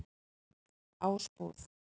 Ásbúð